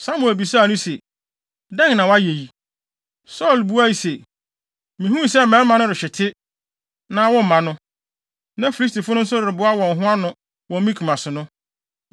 Samuel bisaa no se, “Dɛn na woayɛ yi?” Saulo buae se, “Mihuu sɛ mmarima no rehwete, na womma no, na Filistifo no nso reboa wɔn ho ano wɔ Mikmas no,